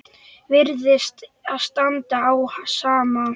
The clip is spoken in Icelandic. Virðist standa á sama.